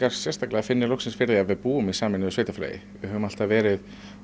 sérstaklega finni loksins fyrir því að við búum í sameinuðu sveitarfélagi við höfum alltaf verið